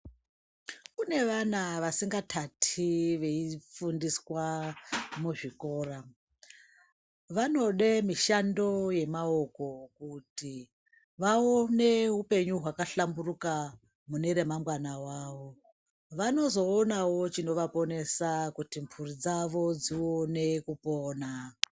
Kune vana vasingatati veifundiswe muzvikora vanoda mishando yemaoko kuti vaone upenyu hwakahlamburuka mune remangwana ravo, vanozoonawo chinovaponesa kuti mburi dzavo dzione kupona.